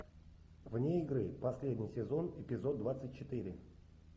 вне игры последний сезон эпизод двадцать четыре